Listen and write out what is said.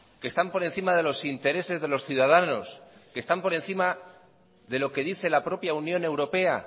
que están por encima de los intereses de los ciudadanos que están por encima de lo que dice la propia unión europea